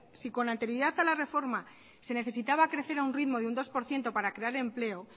si con anterioridad a la reforma se necesitaba crecer a un ritmo de un dos por ciento para crear empleo